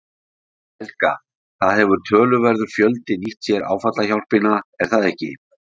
Helga: Það hefur töluverður fjöldi nýtt sér áfallahjálpina er það ekki?